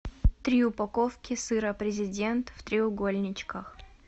три упаковки сыра президент в треугольничках